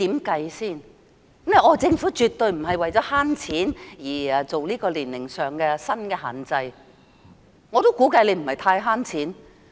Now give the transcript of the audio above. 她說政府絕對不是為了省錢而更改年齡限制，我亦估計此舉不能節省很多錢。